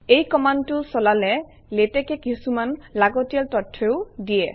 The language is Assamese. এই কমাণ্ডটো চলালে লেটেক্সে কিছুমান লাগতিয়াল তথ্যও দিয়ে